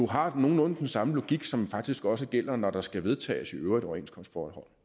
har nogenlunde den samme logik her som faktisk også gælder når der skal vedtages overenskomstforhold